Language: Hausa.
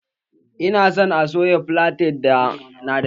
Ina san a soya filaten na da kyau